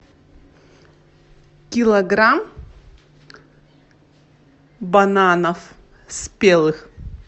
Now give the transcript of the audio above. килограмм бананов спелых